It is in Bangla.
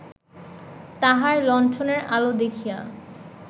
তাঁহার লণ্ঠনের আলো দেখিয়া